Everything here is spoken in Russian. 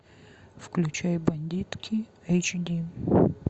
включай бандитки эйч ди